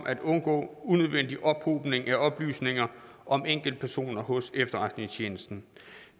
at undgå unødvendig ophobning af oplysninger om enkeltpersoner hos efterretningstjenesten